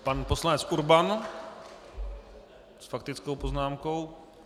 Pan poslanec Urban s faktickou poznámkou.